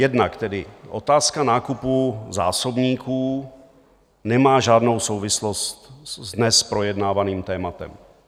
Jednak tedy otázka nákupu zásobníků nemá žádnou souvislost s dnes projednávaným tématem.